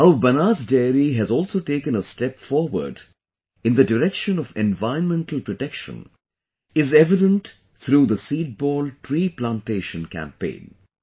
How Banas Dairy has also taken a step forward in the direction of environmental protection is evident through the Seedball tree plantation campaign